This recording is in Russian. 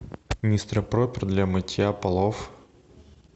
мистер пропер для мытья полов